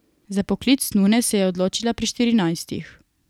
Za poklic nune se je odločila pri štirinajstih.